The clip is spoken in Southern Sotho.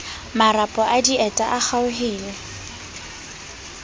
marapo a dieta a kgaohile